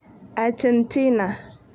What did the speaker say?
Achentina.